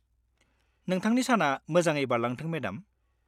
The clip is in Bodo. नोंथांनि साना मोजाङै बारलांथों, मेडाम।